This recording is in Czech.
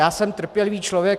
Já jsem trpělivý člověk.